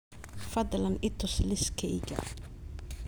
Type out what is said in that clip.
fadlan i tus liiskayga